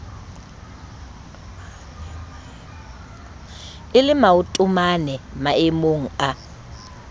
e le maotomane maemomg a